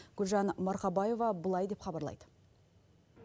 гүлжан марқабаева былай деп хабарлайды